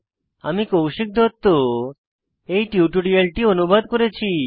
আমি কৌশিক দত্ত এই টিউটোরিয়ালটি অনুবাদ করেছি